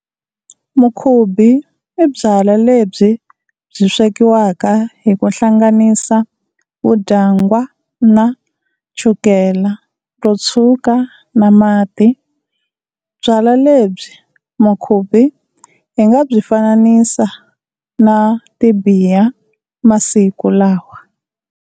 Mukhubi i byalwa lebyi byi swekiwaka hi ku hlanganisa vudyangwana, chukele ro tshwuka na mati. Byalwa lebya mukhubi hi nga byi fananisa na tibiya masiku lawa.